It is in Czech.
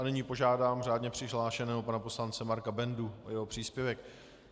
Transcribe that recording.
A nyní požádám řádně přihlášeného pana poslance Marka Bendu o jeho příspěvek.